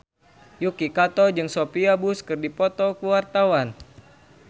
Yuki Kato jeung Sophia Bush keur dipoto ku wartawan